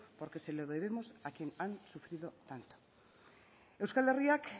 porque se lo debemos a quienes han sufrido tanto euskal herriak